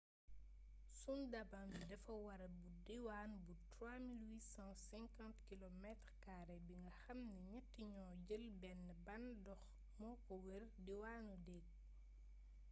sundaban bi dafa wër bu diwaan bu 3 850km² bi nga xam ne ñett yoo jël benn ban dox moo ko wër/diwaanu deeg